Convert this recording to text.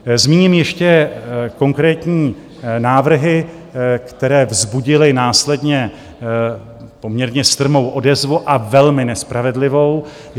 Zmíním ještě konkrétní návrhy, které vzbudily následně poměrně strmou odezvu, a velmi nespravedlivou.